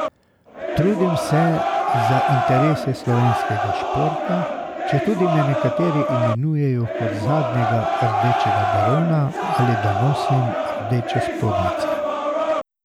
Trudim se za interese slovenskega športa, četudi me nekateri imenujejo kot zadnjega rdečega barona ali da nosim rdeče spodnjice.